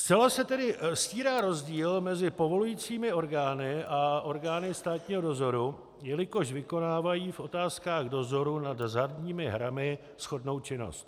Zcela se tedy stírá rozdíl mezi povolujícími orgány a orgány státního dozoru, jelikož vykonávají v otázkách dozoru nad hazardními hrami shodnou činnost.